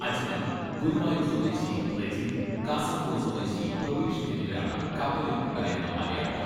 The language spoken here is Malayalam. അജ്മൽ, ഗുരുവായൂർ സ്വദേശി റെജിൻ, കാസർകോട് സ്വദേശി പ്രബീഷ് എന്നിവരാണ് കപ്പലിൽ ഉണ്ടായിരുന്ന മലയാളികൾ.